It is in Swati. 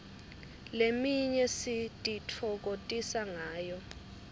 leminye sititfokotisa ngayo